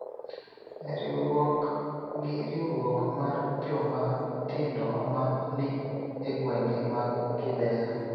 e riwruok gi riwruok mar joma tindo ma ni e gwenge mag Kibera.